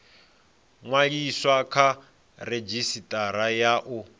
ṅwaliswa kha redzhisitara ya u